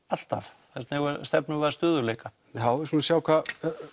alltaf þess vegna stefnum við að stöðugleika já við skulum sjá hvað